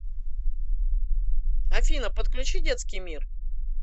афина подключи детский мир